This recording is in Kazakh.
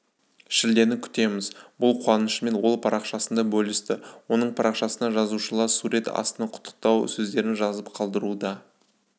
шілдені күтеміз бұл қуанышымен ол парақшасында бөлісті оның парақшасына жазылушылар сурет астына құттықтау сөздерін жазып қалдыруда